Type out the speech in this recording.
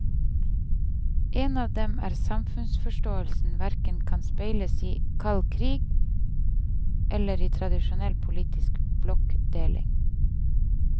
En av dem er at samfunnsforståelsen hverken kan speiles i kald krig eller i tradisjonell politisk blokkdeling.